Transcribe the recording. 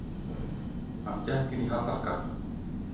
Hann gekk inn í hallargarðinn.